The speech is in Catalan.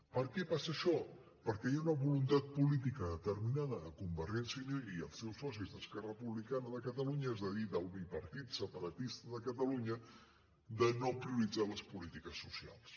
per què passa això perquè hi ha una voluntat política determinada de convergència i unió i els seus socis d’esquerra republicana de catalunya és a dir del bipartit separatista de catalunya de no prioritzar les polítiques socials